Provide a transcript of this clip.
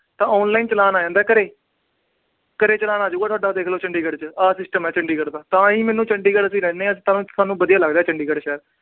ਤਾਂ online ਆ ਜਾਂਦਾ ਘਰੇ। ਘਰੇ challan ਆਜੇਗਾ ਤੁਹਾਡਾ ਚੰਡੀਗੜ੍ਹ ਚ। ਆ system ਆ ਚੰਡੀਗੜ੍ਹ ਦਾ। ਤਾਂ ਹੀ ਅਸੀਂ ਚੰਡੀਗੜ੍ਹ ਰਹਿੰਦੇ ਆ। ਸਾਨੂੰ ਵਧੀਆ ਲੱਗਦਾ ਚੰਡੀਗੜ੍ਹ ਸ਼ਹਿਰ।